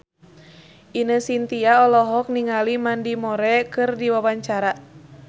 Ine Shintya olohok ningali Mandy Moore keur diwawancara